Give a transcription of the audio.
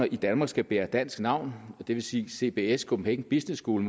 i danmark skal bære dansk navn og det vil sige at cbs copenhagen business school